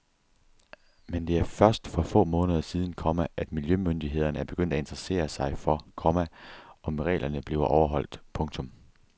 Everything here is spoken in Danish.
Men det er først for få måneder siden, komma at miljømyndighederne er begyndt at interessere sig for, komma om reglerne bliver overholdt. punktum